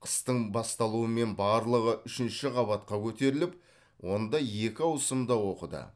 қыстың басталуымен барлығы үшінші қабатқа көтеріліп онда екі ауысымда оқыды